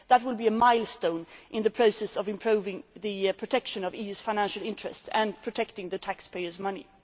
Office. That would be a milestone in the process of improving the protection of the EU's financial interests and protecting taxpayers'